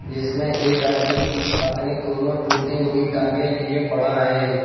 जिसमें एक आदमी अपनी दोनो टूटी हुई टांगे लिए पड़ा है।